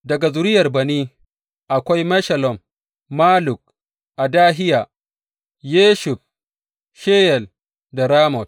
Daga zuriyar Bani, akwai Meshullam, Malluk, Adahiya, Yashub, Sheyal, da Ramot.